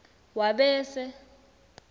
wabese